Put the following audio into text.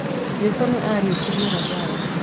Jesu nĩ ariukĩrie lazaro